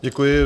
Děkuji.